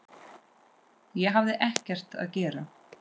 Ég hafði ekkert að gera.